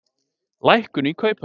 Lækkun í kauphöll